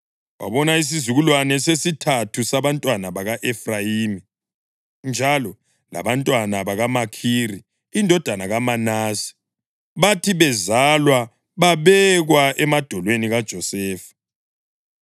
wabona isizukulwane sesithathu sabantwana baka-Efrayimi. Njalo labantwana bakaMakhiri indodana kaManase bathi bezalwa babekwa emadolweni kaJosefa.